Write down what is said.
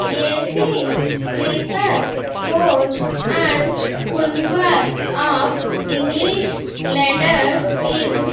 A_C sleeper coach and kunwar of english letters in --